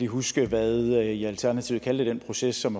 huske hvad i i alternativet kaldte den proces som